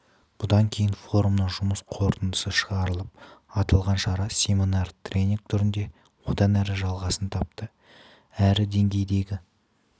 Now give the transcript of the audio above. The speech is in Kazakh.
бұдан кейін форумның жұмыс қорытындысы шығарылып аталған шара семинар-тренинг түрінде одан әрі жалғасын тапты әр деңгейдегі